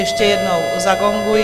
Ještě jednou zagonguji.